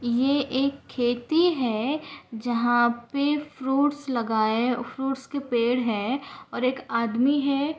ये एक खेती है जहा पे फ्रूट्स लगाए फ्रूट्स के पेड़ है और एक आदमी है।